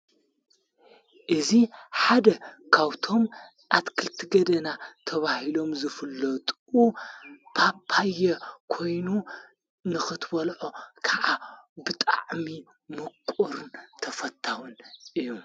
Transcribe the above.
እዙ ሓደ ካውቶም ኣትክልቲ ገደና ተብሂሎም ዘፍለጡ ጳጳዮ ኮይኑ ንኽትእዩዖ ከዓ ብጣዕሚ ምቝርን ተፈታዉን እዩ።